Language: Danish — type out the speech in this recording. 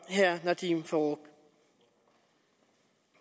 herre nadeem farooq